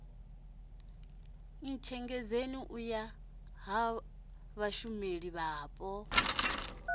ntshengedzeni u ya ha vhashumelavhapo